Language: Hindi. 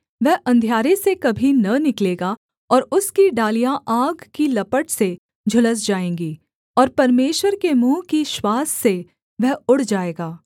वह अंधियारे से कभी न निकलेगा और उसकी डालियाँ आग की लपट से झुलस जाएँगी और परमेश्वर के मुँह की श्वास से वह उड़ जाएगा